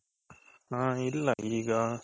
ಹ ಇಲ್ಲ ಈಗ